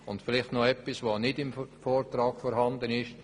Vielleicht noch etwas, das nicht im Vortrag steht: